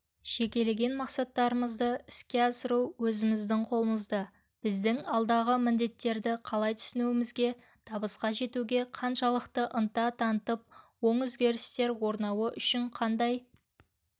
жекелеген мақсаттарымызды іске асыру өзіміздің қолымызда біздің алдағы міндеттерді қалай түсінуімізде табысқа жетуге қаншалықты ынта танытып оң өзгерістер орнауы үшін қандай